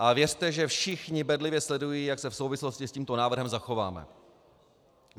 A věřte, že všichni bedlivě sledují, jak se v souvislosti s tímto návrhem zachováme.